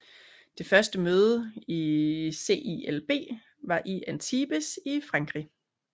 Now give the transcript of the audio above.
Det første møde i CILB var i Antibes i Frankrig